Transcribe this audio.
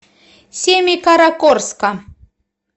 семикаракорска